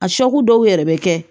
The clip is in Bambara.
A dɔw yɛrɛ bɛ kɛ